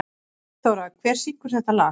Friðþóra, hver syngur þetta lag?